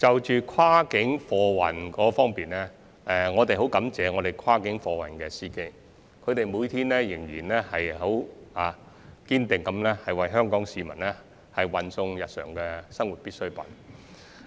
就跨境貨運而言，我們十分感謝跨境貨運司機，每天堅定不移為香港市民運送日常生活必需品。